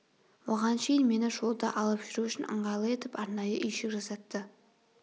оған шейін мені жолда алып жүру үшін ыңғайлы етіп арнайы үйшік жасатты